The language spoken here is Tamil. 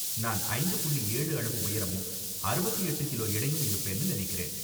நான் ஐந்து புள்ளி ஏழு அளவு உயரமும், அறுபத்தி எட்டு கிலோ எடையும் இருப்பேன்னு நினைக்கிறேன்.